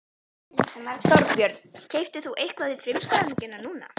Þorbjörn: Keyptir þú eitthvað við frumskráninguna núna?